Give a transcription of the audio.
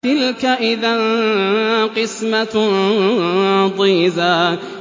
تِلْكَ إِذًا قِسْمَةٌ ضِيزَىٰ